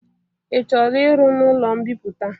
Ị chọrọ iru n'ụlo mbipụta?